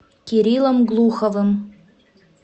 кириллом глуховым